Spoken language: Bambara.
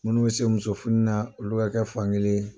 Minnu bɛ se muso funna olu ka kɛ fankelen.